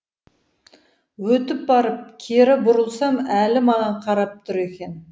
өтіп барып кері бұрылсам әлі маған қарап тұр екен